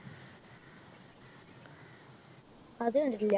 അത് കണ്ടിട്ടില്ല